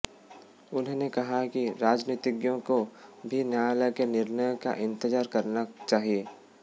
उन्होंने कहा कि राजनीतिज्ञों को भी न्यायालय के निर्णय का इंतजार करना चाहिए